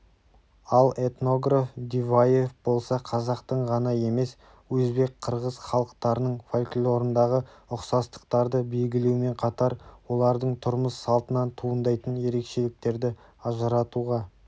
ал этнограф диваев болса қазақтың ғана емес өзбек қырғыз халықтарының фольклорындағы ұқсастықтарды белгілеумен қатар олардың тұрмыс-салтынан туындайтын ерекшеліктерді ажыратуға